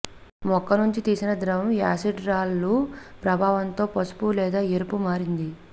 మొక్క నుంచి తీసిన ద్రవం యాసిడ్ రాళ్లు ప్రభావంతో పసుపు లేదా ఎరుపు మారింది